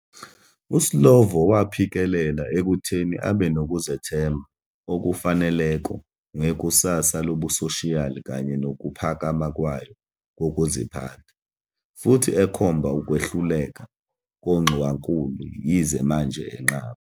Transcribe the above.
USlovo waphikelela ekutheni "abe nokuzethemba okufaneleko ngekusasa lobusoshiyali kanye nokuphakama kwayo kokuziphatha", futhi ekhomba "ukwehluleka kongxowankulu", yize manje enqaba